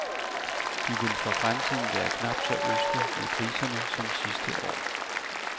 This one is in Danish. De vil for fremtiden være knap så ødsle med priserne som sidste år.